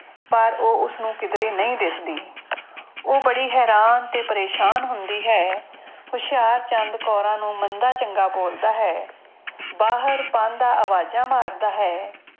ਪਰ ਉਹ ਉਸਨੂੰ ਕਿੱਧਰੇ ਨਹੀਂ ਦਿਸਦੀ ਉਹ ਬੜੀ ਹੈਰਾਨ ਤੇ ਪਰੇਸਾਨ ਹੁੰਦੀ ਹੈ ਹੁਸ਼ਿਆਰਚੰਦ ਕੌਰਾਂ ਨੂੰ ਮੰਦਾ ਚੰਗਾ ਬੋਲਦਾ ਹੈ, ਬਾਹਰ ਪਾਂਧਾ ਆਵਾਜ਼ਾਂ ਮਾਰਦਾ ਹੈ।